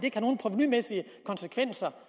ikke har nogen provenumæssige konsekvenser